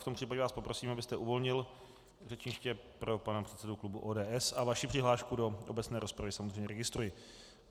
V tom případě vás poprosím , abyste uvolnil řečniště pro pana předsedu klubu ODS, a vaši přihlášku do obecné rozpravy samozřejmě registruji.